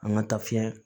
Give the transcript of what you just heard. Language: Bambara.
An ka taa fiɲɛ